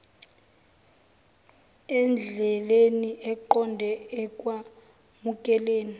endleleni eqonde ekwamukeleni